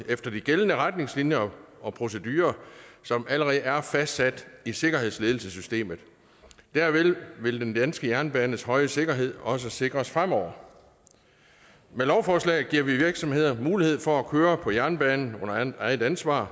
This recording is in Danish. efter de gældende retningslinjer og procedurer som allerede er fastsat i sikkerhedsledelsessystemet derved vil den danske jernbanes høje sikkerhed også sikres fremover med lovforslaget giver vi virksomheder mulighed for at køre på jernbanen under eget ansvar